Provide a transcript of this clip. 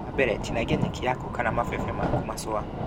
Wa mbele, tinangia nyeki yaku kana mabebe maku macũa